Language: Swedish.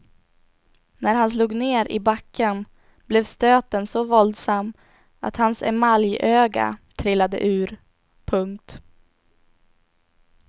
När han slog ner i backen blev stöten så våldsam att hans emaljöga trillade ur. punkt